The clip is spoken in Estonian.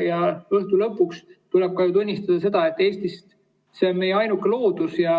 Õhtu lõpuks tuleb ju tunnistada ka seda, et see on meie ainuke loodus ja